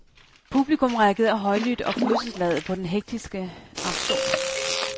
Publikum reagerede højlydt og følelsesladet på den hektiske auktion.